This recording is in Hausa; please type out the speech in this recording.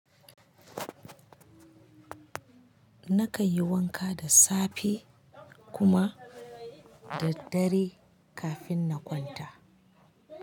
Na kai yi wanka da safe kuma da dare kafin na kwanta.